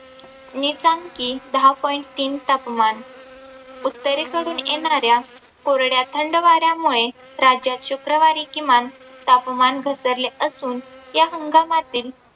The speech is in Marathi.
नीचांकी दहा point तीन तापमान, उत्तरेकडून येणाऱ्या कोरड्या थंड वाऱ्यामुळे राज्यात शुक्रवारी किमान तापमान घसरले असून या संगमातील